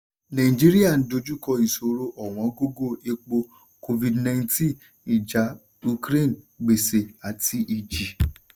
nàìjíríà dojúkọ ìṣòro ọ̀wọ́ngógó epo covid-nineteen ìjà ukraine gbèṣè àti ìjì.